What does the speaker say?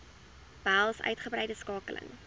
behels uitgebreide skakeling